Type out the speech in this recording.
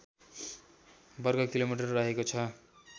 वर्गकिलोमिटर रहेको छ